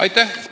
Aitäh!